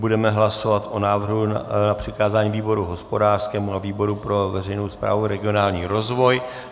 Budeme hlasovat o návrhu na přikázání výboru hospodářskému a výboru pro veřejnou správu a regionální rozvoj.